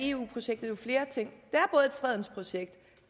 eu projektet jo flere ting